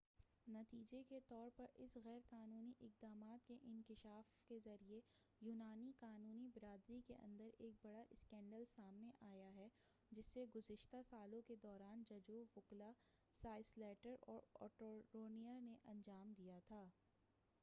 نتیجے کے طور پر اس غیر قانونی اقدامات کے انکشاف کے ذریعہ یونانی قانونی برادری کے اندر ایک بڑا اسکینڈل سامنے آیا ہے جسے گزشتہ سالوں کے دوران ججوں وکلاء سالیسٹرز اور اٹورنیز نے انجام دیا تھا